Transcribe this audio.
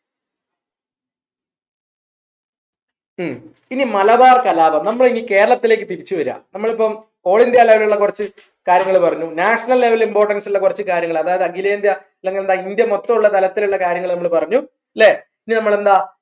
ഹും ഇനി മലബാർ കലാപം നമ്മളെ ഈ കേരളത്തിലേക്ക് തിരിച്ചു വര നമ്മളിപ്പോ whole india level കുറച്ചു കാര്യങ്ങൾ പറഞ്ഞു national level importance ഉള്ള കുറച്ച് കാര്യങ്ങൾ അതായത് അഖിലേന്ത്യാ അല്ലെങ്കിൽ എന്താ ഇന്ത്യ മൊത്തം ഉള്ള തലത്തിലുള്ള കാര്യങ്ങൾ നമ്മൾ പറഞ്ഞു ല്ലേ ഇനി നമ്മൾ എന്താ